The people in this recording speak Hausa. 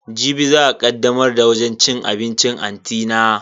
Jibi za a kaddamar da wajen cin abincin anti na.